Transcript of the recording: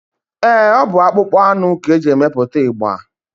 Eé, ọ bụ akpụkpọ anụ ka e ji emepụta ịgba.